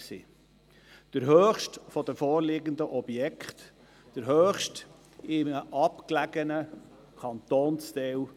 Es handelt sich dabei um den höchsten Mietzins der vorliegenden Objekte und erst noch um den höchsten in einem abgelegenen Kantonsteil.